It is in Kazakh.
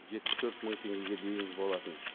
жетпіс төрт мың теңгеге дейін болатын